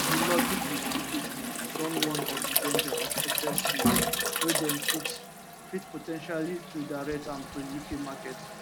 di lobby group uk steel don warn of di danger of excess steel wey dem fit fit po ten tially redirect am to uk market